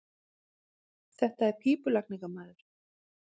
Þetta er pípulagningamaður.